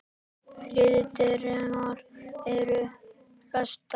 Þriðju dyrnar eru læstar.